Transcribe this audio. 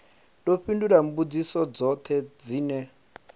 ḓo fhindula mbudziso dzoṱhe dzine